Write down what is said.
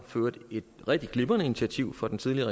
for øvrigt et rigtig glimrende initiativ fra den tidligere